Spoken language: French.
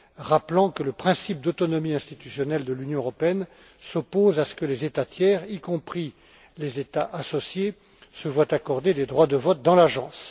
rappelant que le principe d'autonomie institutionnelle de l'Union européenne s'oppose à ce que les États tiers, y compris les États associés, se voient accorder des droits de vote dans l'agence.